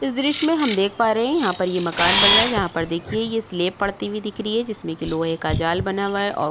इस दृश्य मे हम देख पा रहे है यहाँ पर ये मकान बन रहा है जहाँ पर देखिये ये पड़ती हुई दिख रही है जिसमे कि लोहे का जाल बना हुआ है औ --